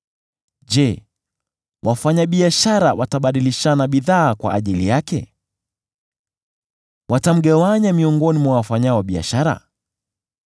Je, wafanyabiashara watabadilishana bidhaa kwa ajili yake? Watamgawanya miongoni mwa wafanyao biashara?